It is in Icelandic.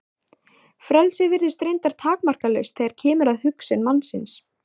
Frelsið virðist reyndar takmarkalaust þegar kemur að hugsun mannsins.